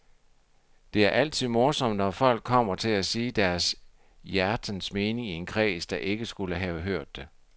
Det er altid morsomt, når folk kommer til at sige deres hjertens mening i en kreds, der ikke skulle have hørt det.